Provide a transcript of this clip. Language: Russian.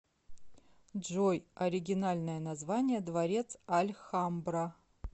джой оригинальное название дворец альхамбра